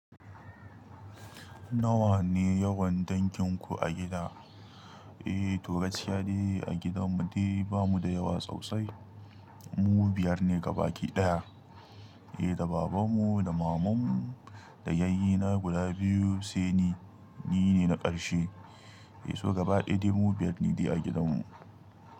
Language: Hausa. Nawa ne yawan danginku a gida? Eh to gaskiya de a gidan mu de ba mu da yawa, sosai mu biyar ne gaba ki ɗaya. Eh da baban mu da maman mu da yayye na guda biyu sai ni, ni ne na ƙarshe. Eh so gaba ɗaya dai mu biyar ne a gidan mu.